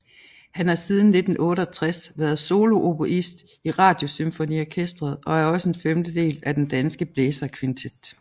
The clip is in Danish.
Han har siden 1968 været solooboist i Radiosymfoniorkestret og er også en femtedel af den Danske Blæserkvintet